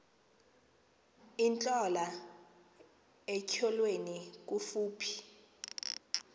intlola etyholweni kufuphi